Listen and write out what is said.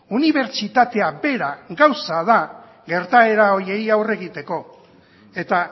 unibertsitatea bera gauza da gertaera horiei aurre egiteko eta